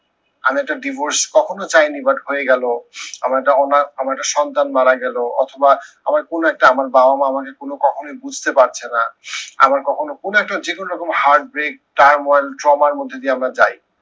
আমি একটা ডিভোর্স কখনো চাইনি but হয়ে গেলো। আমার একটা অনাথ আমার একটা সন্তান মারা গেলো, অথবা আমার কোনো একটা আমার বাবা মা আমাকে কোনো কখনোই বুঝতে পারছে না। আমার কখনো কোনো একটি যে কোনো রকম heart break trauma র মধ্যে দিয়ে আমরা যাই।